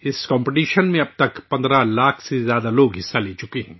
اس مقابلے میں حصہ لے چکے ہیں